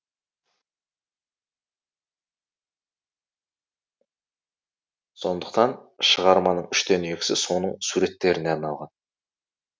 сондықтан шығарманың үштен екісі соның суреттеріне арналған